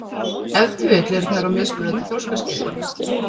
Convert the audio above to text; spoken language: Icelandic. Ef til vill eru þær á mismunandi þroskaskeiði.